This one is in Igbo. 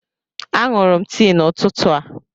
A ṅụrụ m tii n'ụtụtụ a.